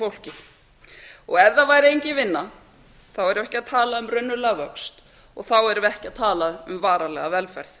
fólkið ef það væri engin vinna þá er ekki að tala um raunverulegan vöxt og þá erum við ekki að tala um varanlega velferð